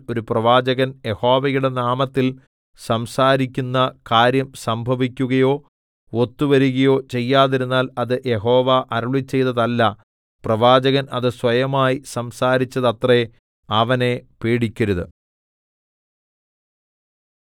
ഒരു പ്രവാചകൻ യഹോവയുടെ നാമത്തിൽ സംസാരിക്കുന്ന കാര്യം സംഭവിക്കുകയോ ഒത്തുവരുകയോ ചെയ്യാതിരുന്നാൽ അത് യഹോവ അരുളിച്ചെയ്തതല്ല പ്രവാചകൻ അത് സ്വയമായി സംസാരിച്ചതത്രെ അവനെ പേടിക്കരുത്